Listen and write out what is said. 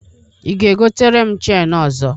Ị ga-egotere m cheni ọzọ?